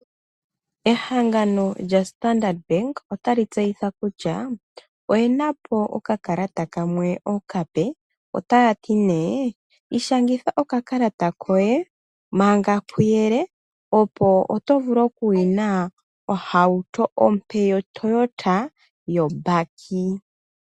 Ehangano lyoStandard Bank otali tseyitha kutya oye napo oka kalata kamwe okape. Otaya ti nee, ishangitha oka kalata koye manga kuyele. Opo oto vulu oku vena ohauto ompe yoToyota yoBakkie.